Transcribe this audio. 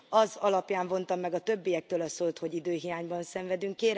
Az alapján vontam meg a többiektől a szót, hogy időhiányban szenvedünk.